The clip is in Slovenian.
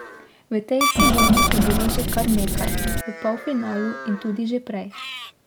V tej sezoni jih je bilo že kar nekaj, v polfinalu in tudi že prej.